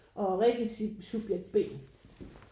Og Rikke subjekt B